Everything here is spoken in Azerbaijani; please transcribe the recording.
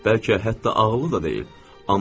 Bəlkə hətta ağıllı da deyil.